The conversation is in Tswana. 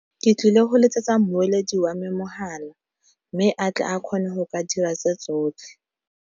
Ke tlile go letsetsa mmoledi wa me mohala, mme a tle a kgone go ka dira tse tsotlhe.